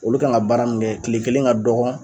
Olu kan ka baara min kɛ kile kelen ka dɔgɔ